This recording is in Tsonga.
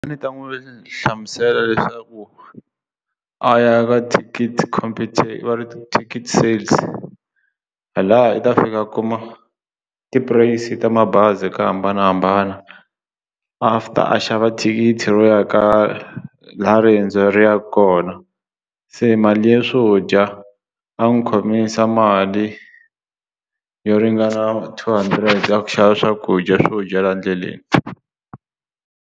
A ndzi ta n'wi hlamusela leswaku a ya ka thikithi va ri thikithi sales phela hala i ta fika a kuma ti price ta mabazi ku hambanahambana after a xava thikithi ro ya ka laha riendzo leri yaka kona se mali ya swo dya a n'wi khomisa mali yo ringana two hundred ya ku xava swakudya swo dya laha ndleleni.